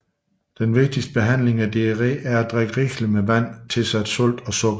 Den vigtigste behandling af diarré er at drikke rigeligt med vand tilsat salt og sukker